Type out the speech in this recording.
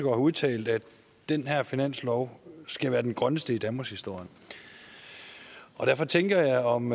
har udtalt at den her finanslov skal være den grønneste i danmarkshistorien og derfor tænker jeg om